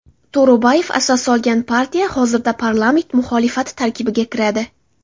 To‘ro‘bayev asos solgan partiya hozirda parlament muxolifati tarkibiga kiradi.